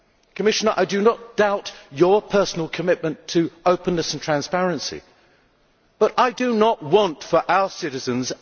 Commissioner, I do not doubt your personal commitment to openness and transparency, but I do not want action plans for our citizens.